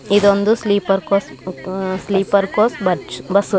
ಇದೊಂದು sleeper coach uh sleeper coach ಬಚ್ bus .